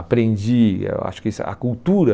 Aprendi, eu acho que isso a cultura...